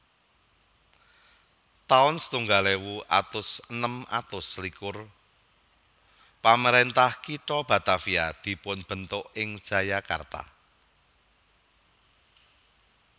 taun setunggal ewu atus enem atus selikur Pamaréntah kitha Batavia dipunbentuk ing Jayakarta